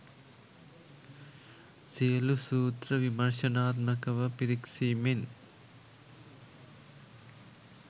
සියලු සූත්‍ර විමර්ශනාත්මකව පිරික්සීමෙන්